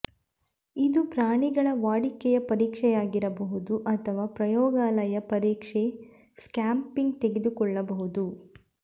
ಇದು ಪ್ರಾಣಿಗಳ ವಾಡಿಕೆಯ ಪರೀಕ್ಷೆಯಾಗಿರಬಹುದು ಅಥವಾ ಪ್ರಯೋಗಾಲಯ ಪರೀಕ್ಷೆಗೆ ಸ್ಕ್ರ್ಯಾಪಿಂಗ್ ತೆಗೆದುಕೊಳ್ಳಬಹುದು